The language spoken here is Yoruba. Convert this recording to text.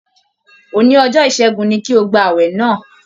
Òní ọjọ́ ìṣẹ́gun ni kí o gba ààwẹ̀ náà!